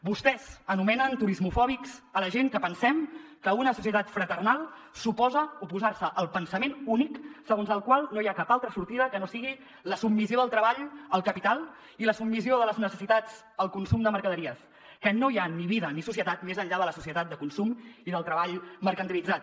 vostès anomenen turismofòbics a la gent que pensem que una societat fraternal suposa oposar se al pensament únic segons el qual no hi ha cap altra sortida que no sigui la submissió del treball al capital i la submissió de les necessitats al consum de mercaderies que no hi ha ni vida ni societat més enllà de la societat de consum i del treball mercantilitzat